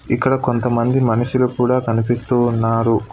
ఇక్కడ కొంతమంది మనుషులు కూడా కనిపిస్తూ ఉన్నారు.